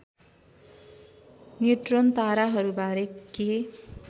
neutron ताराहरूबारे के